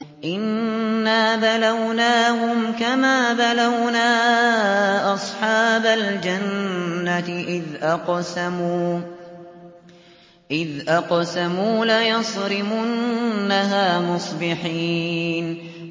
إِنَّا بَلَوْنَاهُمْ كَمَا بَلَوْنَا أَصْحَابَ الْجَنَّةِ إِذْ أَقْسَمُوا لَيَصْرِمُنَّهَا مُصْبِحِينَ